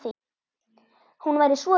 Hún væri svo rík.